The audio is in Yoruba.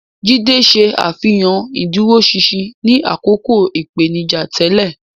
Jide ṣe àfihàn ìdúróṣinṣin ní àkókò ìpèníjà tẹ́lẹ̀.